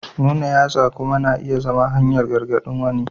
Nuna yatsa kuma na iya zama hanyar gargaɗin wani.